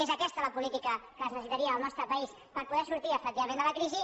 és aquesta la polí·tica que es necessitaria al nostre país per poder sortir efectivament de la crisi